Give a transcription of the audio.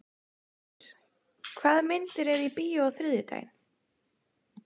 Antóníus, hvaða myndir eru í bíó á þriðjudaginn?